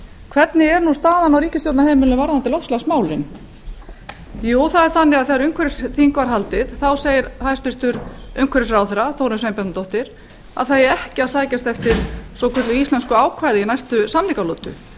hvernig er staðan á ríkisstjórnarheimilinu varðandi loftslagsmálin jú það er þannig að þegar umhverfisþing var haldið segir hæstvirtur umhverfisráðherra þórunn sveinbjarnardóttir að það eigi ekki að sækjast eftir svokölluðu íslensku ákvæði í næstu samningalotu